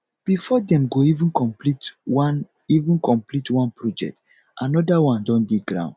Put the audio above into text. before dem go even komplete one even komplete one project anoda one don dey ground